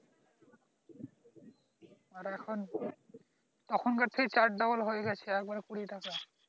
আর এখন তখনকার থেকে চার double হয়ে গেছে একবারে কুড়ি টাকা